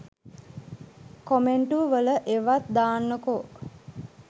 කොමෙන්ටු වල ඒවත් දාන්නකෝ.